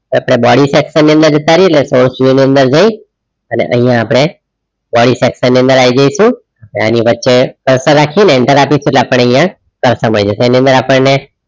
આપડે body section ની અંદર જાત રેહીએ એટલે ની અંદર જય અને અહિયાં આપણે body section ની અંદર આયી જઈસુ ને આની વચ્ચે cursor રાખીને enter આપીશુ એટલે આપણે અહીંયા સમય જશે એની અંદર આપણ ને